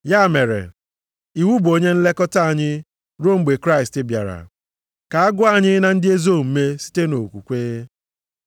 Ya mere, iwu bụ onye nlekọta anyị, ruo mgbe Kraịst bịara, ka a gụọ anyị na ndị ezi omume site nʼokwukwe.